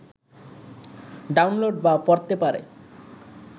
download বা পড়তে পারে